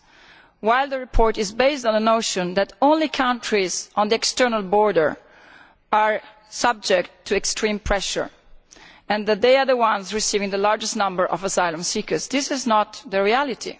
Although the report is based on a notion that only countries on the external border are subject to extreme pressure and that they are the ones receiving the largest number of asylum seekers, this is not the reality.